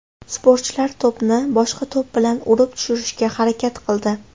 Sportchilar to‘pni boshqa to‘p bilan urib tushirishga harakat qildi.